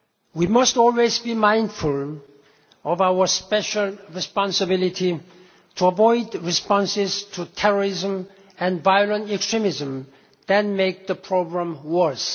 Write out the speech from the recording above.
We must always be mindful of our special responsibility to avoid responses to terrorism and violent extremism that make the problems worse.